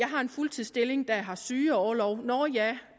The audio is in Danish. har en fuldtidsstilling der har sygeorlov nå ja